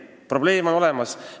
Probleem on olemas.